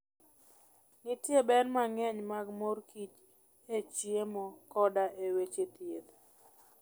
Nitie ber mang'eny mag mor kich e chiemo koda e weche thieth.